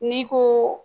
N'i ko